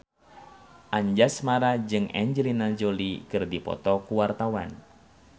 Anjasmara jeung Angelina Jolie keur dipoto ku wartawan